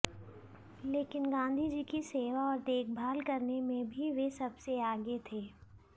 लेकिन गांधीजी की सेवा और देखभाल करने में भी वे सबसे आगे थे